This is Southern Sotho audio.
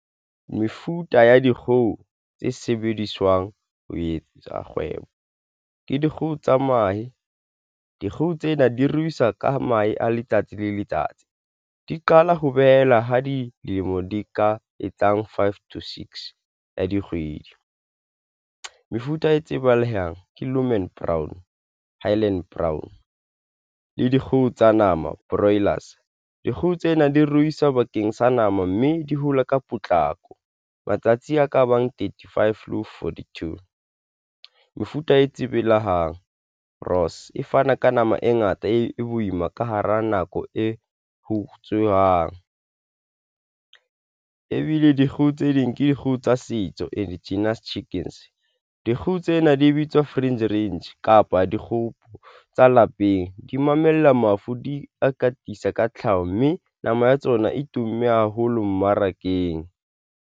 Mefuta ya dikgoho tse sebediswang ho etsa kgwebo ke dikgoho tsa mahe. Dikgoho tsena di ruisa ka mahe a letsatsi le letsatsi di qala ho behela ha dilemo di ka etsang five, to six ya dikgwedi. Mefuta e tsebalehang ke Lohman Brown le Highline Brown le dikgoho tsa nama broilers dikgoho tsena di ruisa bakeng sa nama mme di hola ka potlako matsatsi a ka bang thirty five le ho forty two. Mefuta e tsebelehang Ross e fana ka nama e ngata e boima ka hara nako e hutswe jwang, ebile dikgoho tse ding ke dikgoho tsa setso indigenous chickens. Dikgoho tsena di bitswa free range kapa dikgoho tsa lapeng, di mamella mafu, di a katisa ka tlhaho, mme nama ya tsona e tumme haholo mmarakeng.